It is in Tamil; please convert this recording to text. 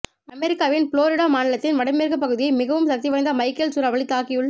அமெரிக்காவின் புளோரிடா மாநிலத்தின் வடமேற்கு பகுதியை மிகவும் சக்திவாய்ந்த மைக்கேல் சூறாவளி தாக்கியுள்